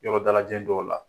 Yɔrɔ dalajɛn don la .